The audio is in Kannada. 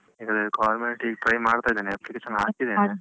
ಇಲ್ಲಿ government ಗೆ ಈಗ try ಮಾಡ್ತಾ ಇದ್ದೇನೆ application ಹಾಕಿದ್ದೇನೆ